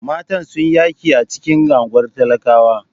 Matan sun yi yaƙi a cikin unguwar talakawa.